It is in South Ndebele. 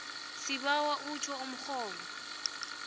sibawa utjho umrholo